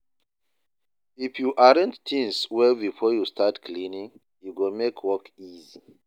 If you arrange things well before you start cleaning, e go make work easy.